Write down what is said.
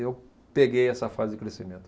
Eu peguei essa fase de crescimento.